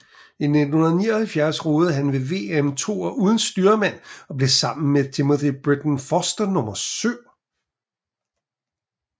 I 1979 roede han ved VM toer uden styrmand og blev sammen med Timothy Britton Foster nummer syv